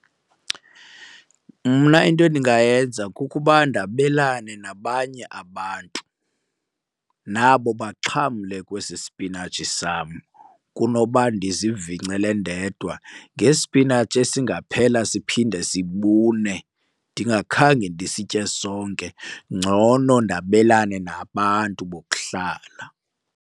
Mna into endingayenza kukuba ndabelane nabanye abantu nabo baxhamle kwesi spinatshi sam kunoba ndizivingcele ndedwa ngespinatshi esingaphela siphinde sibune ndingakhange ndisitye sonke. Ngcono ndabelane nabantu bokuhlala.